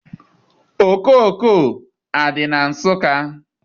Okooko adị na Nsụka?